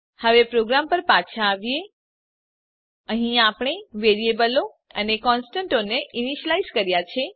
હવે પ્રોગ્રામ પર પાછા આવીએ અહીં આપણે વેરીએબલો અને કોનસ્ટંટોને ઈનીશ્યલાઈઝ કર્યા છે